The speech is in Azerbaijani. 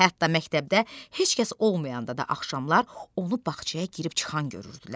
Hətta məktəbdə heç kəs olmayanda da axşamlar onu bağçaya girib çıxan görürdülər.